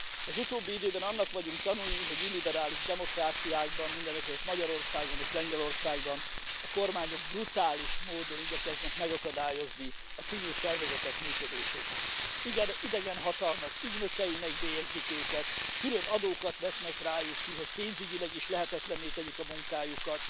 Az utóbbi időben annak vagyunk tanúi, hogy illiberális demokráciákban, mindenekelőtt Magyarországon és Lengyelországban, kormányok brutális módon igyekeznek megakadályozni a civil szervezetek működését. Igen, idegen hatalmak ügynökeinek bélyegzik őket, különadókat vetnek rájuk ki, hogy pénzügyileg is lehetetlenné tegyék a munkájukat,